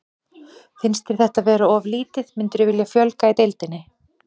Finnst þér þetta vera of lítið, myndirðu vilja fjölga í deildinni?